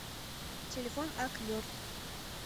телефон ак йорт